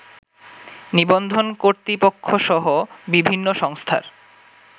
নিবন্ধন কর্তৃপক্ষসহ বিভিন্ন সংস্থার